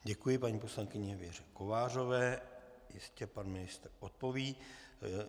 Děkuji paní poslankyni Věře Kovářové, jistě pan ministr odpoví.